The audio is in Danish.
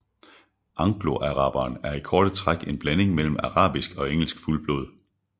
Angloaraberen er i korte træk en blanding mellem arabisk og engelsk fuldblod